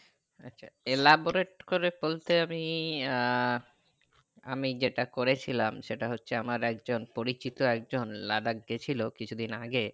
laborate করে বলতে আমি আহ আমি যেটা করে ছিলাম সেটা হচ্ছে আমার একজন পরিচিত একজন লাদাখ গেছিলো কিছুদিন আগে